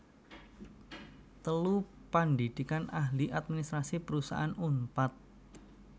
telu Pandhidhikan Ahli Administrasi Perusahaan Unpad